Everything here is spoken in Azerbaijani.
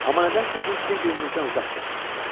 Amma nədənsə biz bir-birimizdən uzaq gəzirdik.